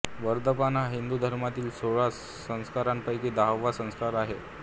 वर्धापन हा हिंदू धर्मातील सोळा संस्कारांपैकी दहावा संस्कार आहे